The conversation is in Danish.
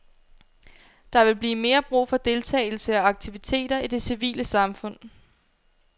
Der vil blive mere brug for deltagelse og aktiviteter i det civile samfund.